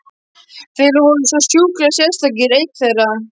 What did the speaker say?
Þeir voru sko sjúklegir, sérstaklega einn þeirra.